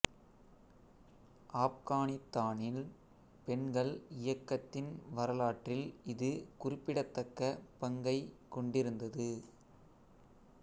ஆப்கானித்தானில் பெண்கள் இயக்கத்தின் வரலாற்றில் இது குறிப்பிடத்தக்க பங்கைக் கொண்டிருந்தது